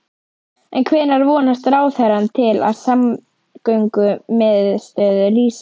En hvenær vonast ráðherrann til að samgöngumiðstöðin rísi?